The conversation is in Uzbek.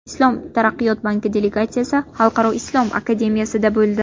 Islom taraqqiyot banki delegatsiyasi Xalqaro islom akademiyasida bo‘ldi.